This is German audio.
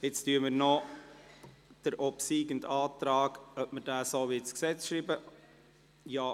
Nun entscheiden wir, ob wir den obsiegenden Antrag so ins Gesetz schreiben wollen: